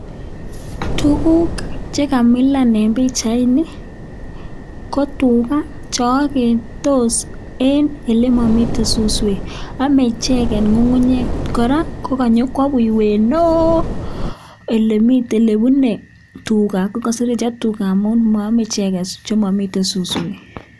Tuguk che kamilan en pichaini, ko tuga che ogetos en ele momiten suswek. Ame icheget ng'ung'unyek. Kora koganyokwo buiywet neo ele bune tuga. Ko koseretyo tuga amun moome icheget ele momiten suswek.